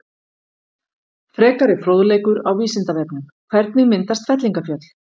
Frekari fróðleikur á Vísindavefnum: Hvernig myndast fellingafjöll?